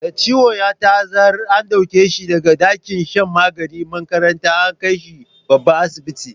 Da ciwon ya ta'azzara, an dauke shi da ga dakin shan maganin makarantar, an kai shi babban asibiti.